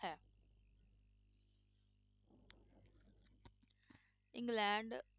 England